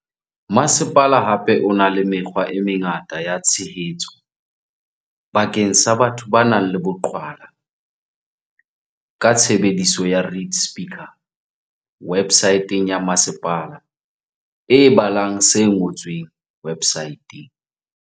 Masepala hape o na le mekgwa e mengata ya tshehetso bakeng sa batho ba nang le boqhwala ka tshebediso ya read-speaker websaeteng ya masepala e balang se ngotsweng websaeteng.